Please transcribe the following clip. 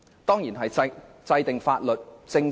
當然是制定法律和政策。